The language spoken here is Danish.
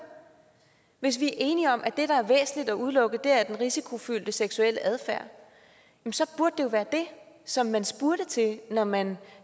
hvis vi er enige om at det der er væsentligt at udelukke er den risikofyldte seksuelle adfærd så burde det jo være det som man spurgte til når man